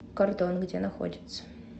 кордон где находится